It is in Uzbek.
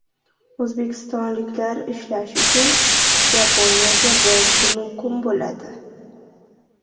O‘zbekistonliklar ishlash uchun Yaponiyaga borishi mumkin bo‘ladi.